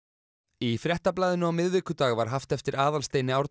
í Fréttablaðinu á miðvikudag var haft eftir Aðalsteini Árna